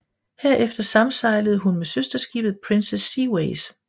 Herefter samsejlede hun med søsterskibet Princess Seaways